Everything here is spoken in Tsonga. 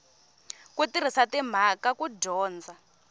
ku tirhisa timhaka ku dyondza